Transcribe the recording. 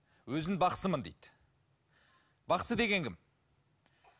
өзін бақсымын дейді бақсы деген кім